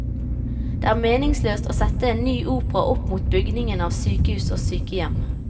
Det er meningsløst å sette en ny opera opp mot bygging av sykehus og sykehjem.